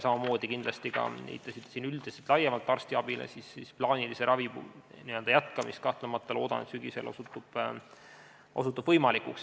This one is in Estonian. Samamoodi, nagu ka teie siin viitasite üldiselt, laiemalt arstiabile, kahtlemata loodan, et plaanilise ravi jätkamine osutub sügisel võimalikuks.